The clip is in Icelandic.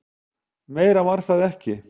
Meira var það ekki.